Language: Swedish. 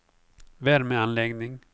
värmeanläggning